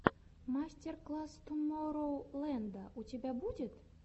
мастер класс тумороу ленда у тебя будет